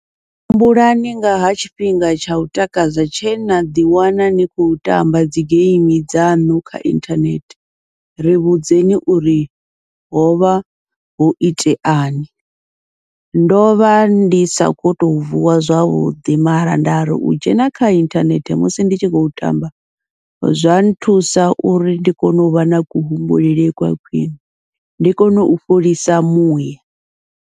Humbulani nga ha tshifhinga tsha u takadza tshe naḓi wana ni khou tamba dzi geimi dzaṋu kha inthanethe ri vhudze ni uri hovha ho iteani, ndovha ndi sa kho to vuwa zwavhuḓi mara nda ri u dzhena kha inthanethe musi ndi tshi khou tamba, zwa nthusa uri ndi kone uvha na kuhumbulele kwa khwiṋe ndi kone u fholisa muya.